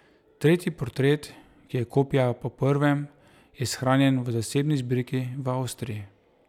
Tretji portret, ki je kopija po prvem, je shranjen v zasebni zbirki v Avstriji.